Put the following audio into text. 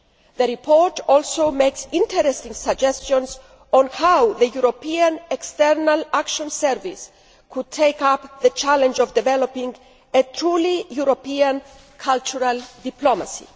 The report also makes interesting suggestions on how the European External Action Service could take up the challenge of developing truly European cultural diplomacy.